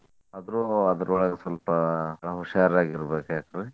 ಆದ್ರು ಅದ್ರೊಳಗ ಸ್ವಲ್ಪ ಹುಷಾರಾಗಿರ್ಬೇಕ್ ಏನ್ರಿ?